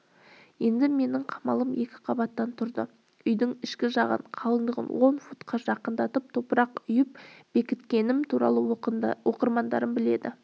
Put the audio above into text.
енді менің қамалым екі қабаттан тұрды үйдің ішкі жағын қалыңдығын он футқа жақындатып топырақ үйіп бекіткенім туралы оқырмандарым біледі